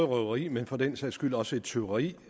røveri men for den sags skyld også et tyveri